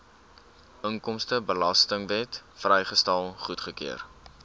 inkomstebelastingwet vrystelling goedgekeur